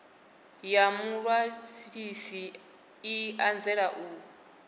ya muṅwalisi i anzela u